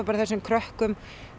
þessum krökkum